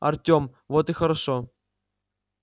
артем вот и хорошо